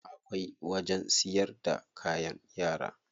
Akwai wajen siyar da kayan yara.